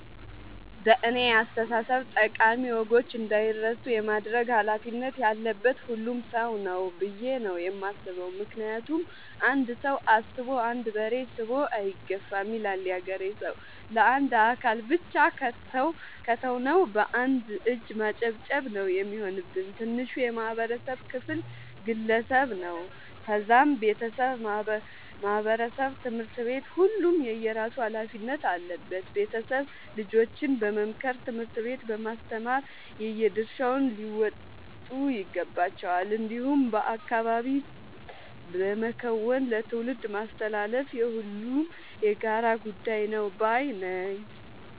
በእኔ አስተሳሰብ ጠቃሚ ወጎች እንዳይረሱ የማድረግ ኃላፊነት ያለበት ሁሉም ሰው ነው። ብዬ ነው የማስበው ምክንያቱም "አንድ ሰው አስቦ አንድ በሬ ስቦ አይገፋም " ይላል ያገሬ ሰው። ለአንድ አካል ብቻ ከተው ነው። በአንድ እጅ ማጨብጨብ ነው የሚሆንብን። ትንሹ የማህበረሰብ ክፍል ግለሰብ ነው ከዛም ቤተሰብ ማህበረሰብ ትምህርት ቤት ሁሉም የየራሱ ኃላፊነት አለበት ቤተሰብ ልጆችን በመምከር ትምህርት ቤት በማስተማር የየድርሻቸውን ሊወጡ ይገባቸዋል። እንዲሁም በአካባቢ በመከወን ለትውልድ ማስተላለፍ የሁሉም የጋራ ጉዳይ ነው ባይነኝ።